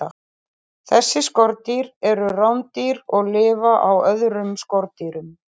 Þessi skordýr eru rándýr og lifa á öðrum skordýrum.